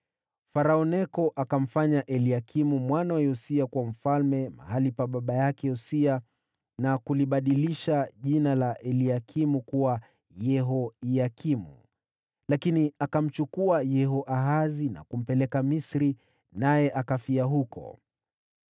Farao Neko akamfanya Eliakimu mwana wa Yosia kuwa mfalme mahali pa baba yake Yosia, na kulibadilisha jina la Eliakimu kuwa Yehoyakimu. Lakini akamchukua Yehoahazi na kumpeleka Misri, naye akafia huko.